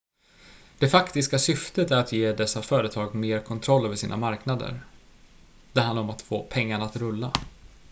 det faktiska syftet är att ge dessa företag mer kontroll över sina marknader det handlar om att få pengarna att rulla